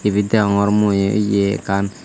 ibit degongor mui yea ekkan.